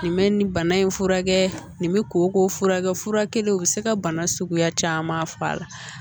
Nin bɛ nin bana in furakɛ nin bɛ koko furakɛ fura kelen u bɛ se ka bana suguya caman fɔ a la